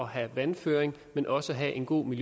have vandføring men også at have en god